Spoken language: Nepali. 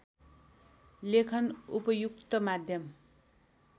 लेखन उपयुक्त माध्यम